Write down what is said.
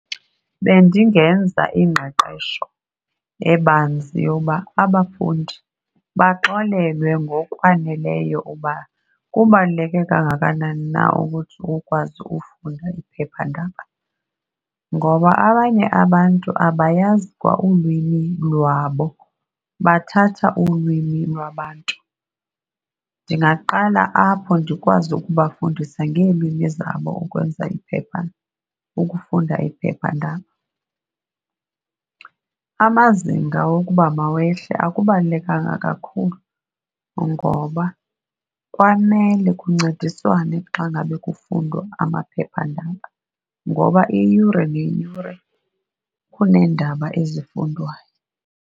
Bendingenza ingqeqesho ebanzi yoba abafundi baxelelwe ngokwaneleyo uba kubaluleke kangakanani na ukuthi ukwazi ufunda iphephandaba, ngoba abanye abantu abayazi kwa ulwimi lwabo, bathatha ulwimi lwabantu. Ndingaqala apho ndikwazi ukubafundisa ngeelwimi zabo ukwenza iphepha, ukufunda iphephandaba. Amazinga wokuba mawehle akubalulekanga kakhulu ngoba kwamele kuncediswane xa ngabe kufundwa amaphephandaba ngoba iyure neyure kuneendaba ezifundwayo.